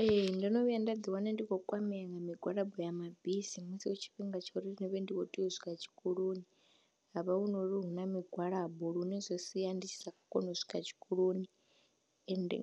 Ee, ndo no vhuya nda ḓiwana ndi khou kwamea nga migwalabo ya mabisi musi hu tshifhinga tsha uri ndi vhe ndi khou tea u swika tshikoloni ha vha hu no ri hu na migwalabo lune zwi sia ndi tshi sa koni u swika tshikoloni ende